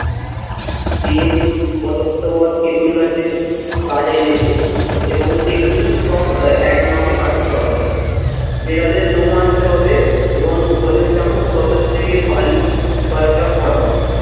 Bell, অশ্বত্থবত, তেঁতুল গাছের কাঠ এনেছে এবং সেগুলি সব একমাপে কাটতে হবে। বেড়ালের লোম আনতে হবে এবং ভোজন চাকর শ্মশান থেকে বালি কয়েকটা পরাবে।